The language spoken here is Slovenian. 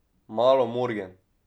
Malo morgen.